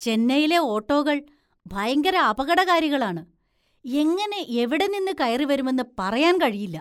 ചെന്നൈയിലെ ഓട്ടോകള്‍ ഭയങ്കര അപകടകാരികളാണ്, എങ്ങനെ എവിടെ നിന്ന് കയറിവരുമെന്ന് പറയാന്‍ കഴിയില്ല.